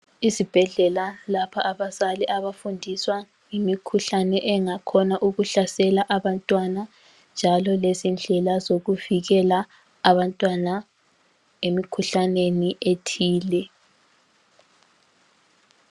Isibhedlela lapha abazali abafundiswa ngemikhuhlane engakhona ukuhlasela abantwana, njalo lezindlela zokuvikela abantwana emikhuhlaneni ethile.